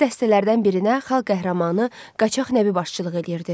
Belə dəstələrdən birinə xalq qəhrəmanı Qaçaq Nəbi başçılıq edirdi.